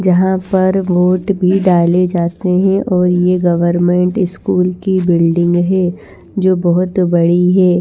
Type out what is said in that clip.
जहां पर वोट भी डाले जाते हैं और ये गवर्नमेंट स्कूल की बिल्डिंग है जो बहुत बड़ी है।